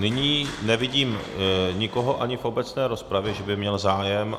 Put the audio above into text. Nyní nevidím nikoho ani v obecné rozpravě, že by měl zájem.